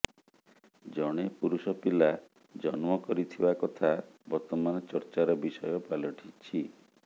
ଜଣେ ପୁରୁଷ ପିଲା ଜନ୍ମ କରିଥିବା କଥା ବର୍ତ୍ତମାନ ଚର୍ଚ୍ଚାର ବିଷୟ ପାଲଟିଛି